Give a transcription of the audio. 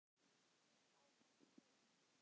Og þá komst þú.